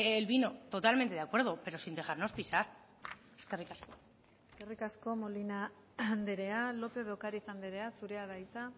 el vino totalmente de acuerdo pero sin dejarnos pisar eskerrik asko eskerrik asko molina andrea lopez de ocariz andrea zurea da hitza